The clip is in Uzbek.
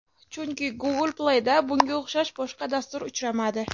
Chunki Google Play’da bunga o‘xshash boshqa dastur uchramadi.